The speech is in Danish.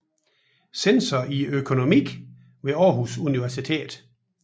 Censor i økonomi ved Århus Universitet